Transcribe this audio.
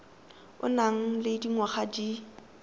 o nang le dingwaga di